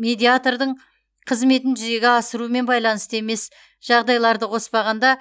медиатордың қызметін жүзеге асырумен байланысты емес жағдайларды қоспағанда